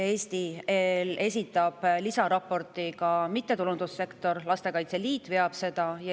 Lisaraporti esitab Eesti kohta mittetulundussektor – Lastekaitse Liit veab seda eest.